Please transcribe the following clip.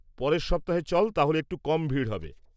-পরের সপ্তাহে চল তাহলে একটু কম ভিড় হবে।